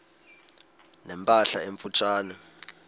ne mpahla emfutshane